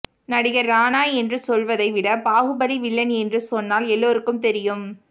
நடிகர் ராணா என்று சொல்வதை விட பாகுபலி வில்லன் என்று சொன்னால் எல்லோருக்கும் தெரியும்